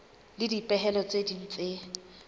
le dipehelo tse ding tse